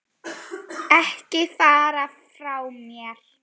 Ekki fara frá mér!